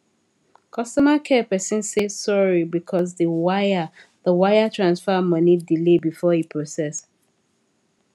customer care person say sorry because the wire the wire transfer money delay before e process